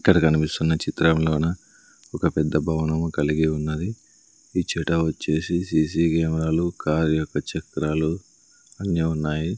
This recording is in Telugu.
ఇక్కడ కనిపిస్తున్న చిత్రంలోన ఒక పెద్ద భవనము కలిగి ఉన్నది ఇచ్చట వచ్చేసి సి_సి కెమెరాలు కార్ యొక్క చక్రాలు అన్ని ఉన్నాయి.